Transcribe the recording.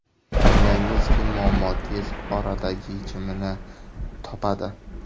O‘ylaymizki, muammo tez orada yechimini topadi.